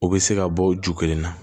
U bɛ se ka bɔ o ju kelen na